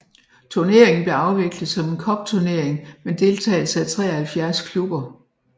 Turneringen blev afviklet som en cupturnering med deltagelse af 73 klubber